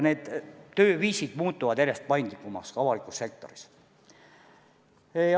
Tööviisid muutuvad järjest paindlikumaks ka avalikus sektoris.